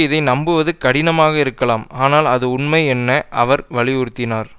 இதை நம்புவது கடினமாக இருக்கலாம் ஆனால் அது உண்மை என அவர் வலியுறுத்தினார்